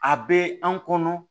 A bɛ an kɔnɔ